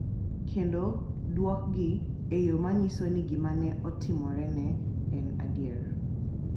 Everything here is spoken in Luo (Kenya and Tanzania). Kendo duokgi e yo ma nyiso ni gima ne otimorene en adier.